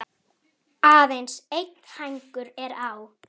Aðeins einn hængur er á.